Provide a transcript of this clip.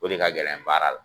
O de ka gɛlɛn baara la.